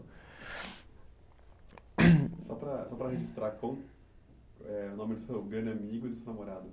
Só para, só para registrar, qual eh o nome do seu grande amigo e da sua namorada?